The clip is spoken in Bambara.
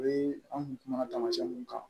O ye an kun kumana tamasiyɛn mun kan